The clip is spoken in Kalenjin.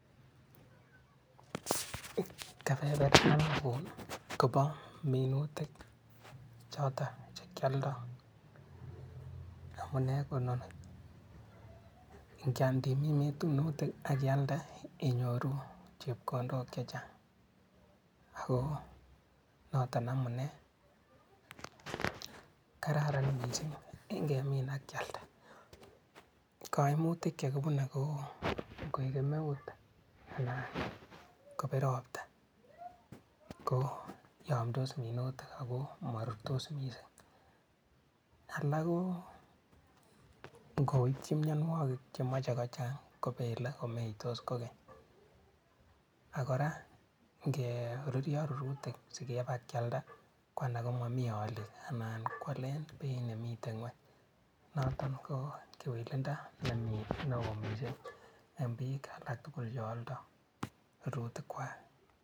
Keberbertanin kobo minutik choto chekialdai, amune kononi, ngademine minutik akialde inyoru chepkondok chechang ak noto amune. Kararan kityo angemin ak kialda, kaimutik chekibune kou koek kemeut anan kopiir ropta ko yamdos minutik ako ma rurtos mising, alak ngoiti mianwokik chemache kochang kobele komeitos kobek ak kora ngo ruryo minutichuto kopa kopkealda kwo alak komamito aliik anan ko aletab beit nemitei ngweny notok ko kewelindo nemie neo mising eng biik alak tugul che aldai rurutik kwai.